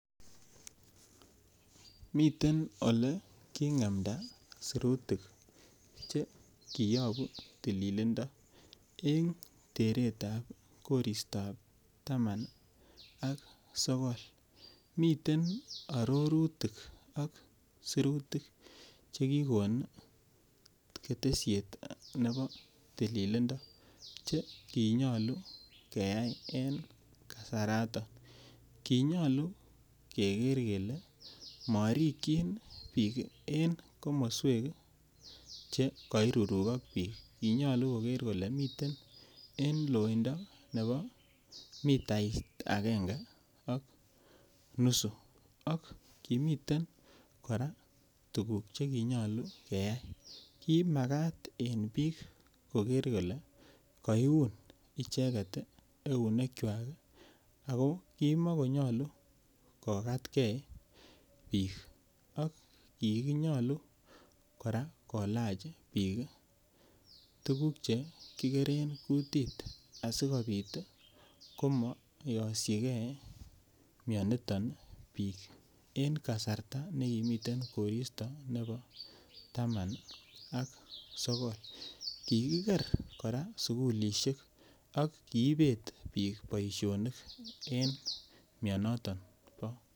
Miten ole king'emda sirutik che kiyoku tililindo eng teret ap koristap taman ak sokol miten arorutik ak sirutik chekikon ketesiet nepo tililindo chekinyolu keyai en kasarata konyolu keker kele marikchin piik en komoswek che kairurukok piiik konyolu koker kole miten en loindo nepo mitait akenge ak nusu ak kimiten kora tukuuk chekinyolu keyai kimakat eng piik koker kole kaiun icheket eunek kwach ako kimakonyolu kokatkei piik ak kikinyolu kora kolach piik tukuk chekikeren kutiit asikopit koma yosyikei mioniton piik en kasarta nekimiten koristo nepo taman ak sokol kikiker kora sukulishek ak kiipet piik boishonik en mionotok.